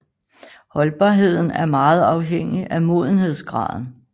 Holdbarheden er meget afhængig af modenhedsgraden